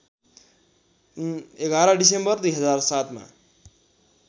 ११ December २००७ मा